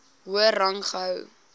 hoër rang gehou